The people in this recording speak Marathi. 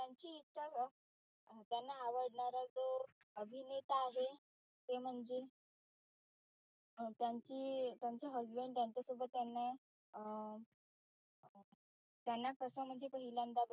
ते म्हणजे त्यांची त्यांचे husband त्यांच्यासोबत त्यांना अं त्यांना तस म्हणजे पहिल्यांदा